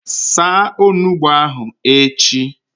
Saa Onugbu ahụ echi!